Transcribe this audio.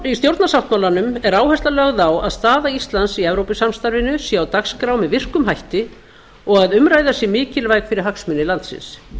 í stjórnarsáttmálanum er áhersla lögð á að staða íslands í evrópusamstarfinu sé á dagskrá með virkum hætti og að umræða sé mikilvæg fyrir hagsmuni landsins